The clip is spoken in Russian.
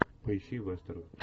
поищи вестерн